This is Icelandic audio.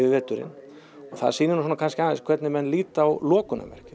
veturinn og það sýnir kannski aðeins hvernig menn líta á